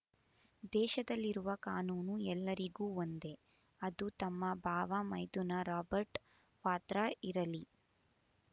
ದೇಶದಲ್ಲಿರುವ ಕಾನೂನು ಎಲ್ಲರಿಗೂ ಒಂದೇ ಅದು ತಮ್ಮ ಬಾವ ಮೈದುನ ರಾಬರ್ಟ್ ವಾದ್ರಾ ಇರಲಿ